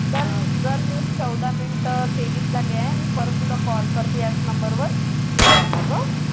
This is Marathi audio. चल मग चौदा minute तेवीस झाले आहे मी परत तुला call करते याच number वर ठीक आहे मग हां